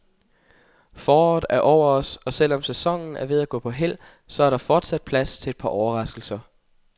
Foråret er over os og selv om sæsonen er ved at gå på hæld, så er der fortsat plads til et par overraskelser.